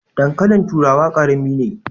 Dankalin turawa karami ne.